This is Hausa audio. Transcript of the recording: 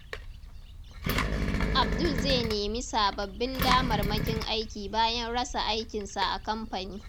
Abdul zai nemi sababbin damarmakin aiki bayan rasa aikinsa a kamfani.